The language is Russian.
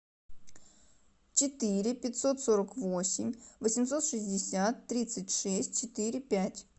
четыре пятьсот сорок восемь восемьсот шестьдесят тридцать шесть четыре пять